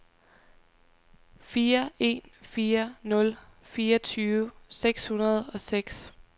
fire en fire nul fireogtyve seks hundrede og seks